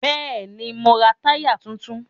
Bẹ́ẹ̀ni, mo ra táyà tuntun